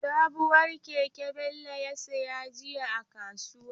Sabuwar keke Bello ya saya jiya a kasuwa.